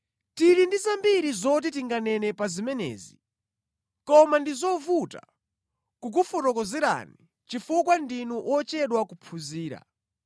Tili ndi zambiri zoti tinganene pa zimenezi, koma ndi zovuta kukufotokozerani chifukwa ndinu ochedwa kuphunzira.